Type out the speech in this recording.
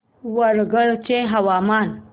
वरंगल चे हवामान